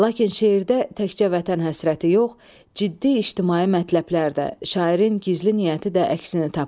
Lakin şeirdə təkcə vətən həsrəti yox, ciddi ictimai mətləblər də, şairin gizli niyyəti də əksini tapıb.